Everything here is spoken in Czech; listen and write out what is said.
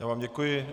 Já vám děkuji.